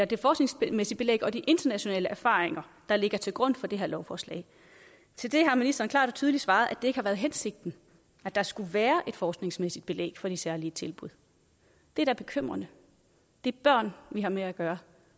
det forskningsmæssige belæg og de internationale erfaringer der ligger til grund for det her lovforslag til det har ministeren klart og tydeligt svaret at det ikke har været hensigten at der skulle være et forskningsmæssigt belæg for de særlige tilbud det er da bekymrende det er børn vi har med at gøre